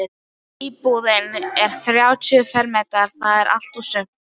Íbúðin er þrjátíu fermetrar- það er allt og sumt.